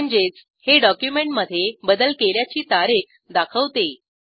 म्हणजेच हे डॉक्युमेंटमधे बदल केल्याची तारीख दाखवते